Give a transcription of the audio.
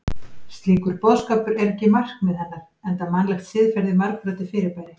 Slíkur boðskapur er ekki markmið hennar enda mannlegt siðferði margbrotið fyrirbæri.